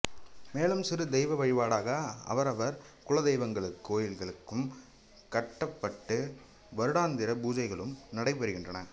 மேலும் சிறு தெய்வ வழிபாடாக அவரவர் குலதெய்வங்களுக்கு கோவில்களும் கட்டப்பட்டு வருடாந்திர பூஜைகளும் நடைபெறுகின்றன